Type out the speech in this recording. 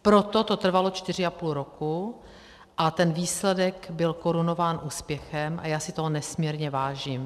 Proto to trvalo čtyři a půl roku a ten výsledek byl korunován úspěchem a já si toho nesmírně vážím.